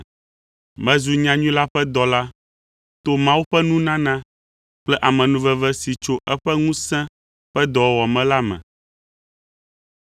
Mezu nyanyui la ƒe dɔla to Mawu ƒe nunana kple amenuveve si tso eƒe ŋusẽ ƒe dɔwɔwɔ me la me.